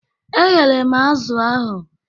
E ghere m azụ̀ ahụ.